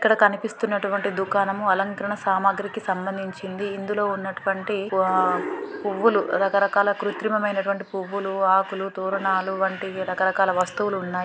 ఇక్కడ కనిపిస్తున్నటువంటి దుకాణము అలంకారణ సామగ్రికి సంబంధించింది. ఇందులో ఉన్నటువంటి ఆ పువ్వులు రకరకాల కృత్రీమైనంటివి పువ్వులు ఆకులు తోరణాలు వంటి రకరకాల వస్తువులు ఉన్నాయి.